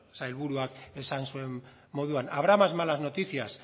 sailburuak esan zuen moduan habrá más malas noticias